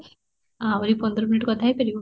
ଆହୁରି ପନ୍ଦର minute କଥା ହେଇ ପାରିବ?